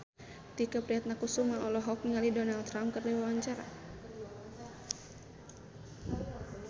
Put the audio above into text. Tike Priatnakusuma olohok ningali Donald Trump keur diwawancara